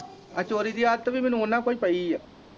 ਆ ਚੋਰੀ ਦੀ ਆਦਤ ਵੀ ਮੈਨੂੰ ਉਨ੍ਹਾਂ ਕੋ ਈ ਪਈ ਆ